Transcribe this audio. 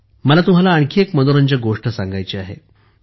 मला तुम्हाला आणखी एक मनोरंजक गोष्ट सांगायची आहे